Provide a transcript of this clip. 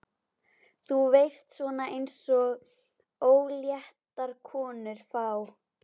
Þú veist, svona eins og óléttar konur fá.